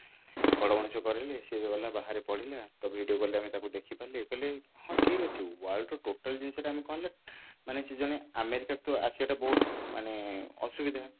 ବଡ ମଣିଷ କରେଇଲେ ସେ ରହିଲା ବାହାରେ ପଢିଲା ତ video call ରେ ତାକୁ ଦେଖି ପାରିଲେ ଇଏ କଲେ ହଁ ଠିକ ଅଛି world ର total ଜିନିଷଟା ଆମେ କଣ ନା ମାନେ ସେ ଜଣେ ଆମେରିକା ତ ସେଇଟା ବହୁତ ମାନେ ଅସୁବିଧା